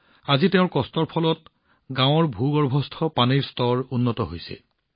আজি তেওঁৰ কষ্টৰ ফল তেওঁৰ গাঁৱৰ ভূগৰ্ভস্থ পানীৰ স্তৰ উন্নত হৈছে